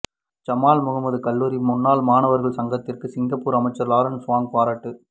Jamal Muhammad கல்லூரி முன்னாள் மாணவர்கள் சங்கத்திற்கு சிங்கப்பூர் அமைச்சர் லாரன்ஸ் வோங் பாராட்டு